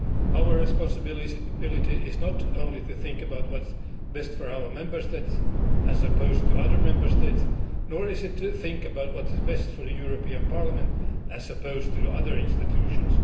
Our responsibility is not only to think about what is best for our Member States, as opposed to other Member States, nor is it to think about what is best for the European Parliament as opposed to other institutions.